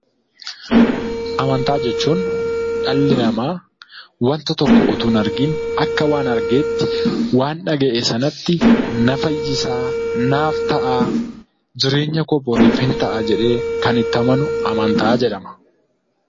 Amantaa jechuun dhalli namaa wanta tokko utuu hin argin akka waan argeetti waan dhaga'e sanatti na fayyisaa, naaf ta'aa, jireenya koo boriif hin ta'a jedhee kan itti amanu amantaa jedhama.